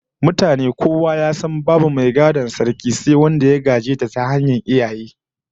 Mutane kowa ya san babu mai gadon Sarkin lallai sai wanda ya gaje ta ta hanyar iyaye